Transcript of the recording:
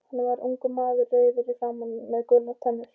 Hann var ungur maður, rauður í framan með gular tennur.